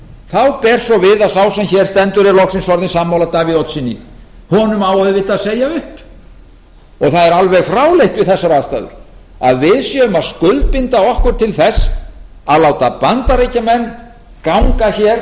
þá ber svo við að sá sem hér stendur er loksins orðinn sammála davíð oddssyni honum á auðvitað að segja upp og það er alveg fráleitt við þessar aðstæður að við séum að skuldbinda okkur til þess að láta bandaríkjamenn ganga hér